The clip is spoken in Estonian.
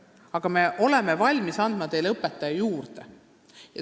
Aga me oleme valmis andma ühe õpetaja juurde.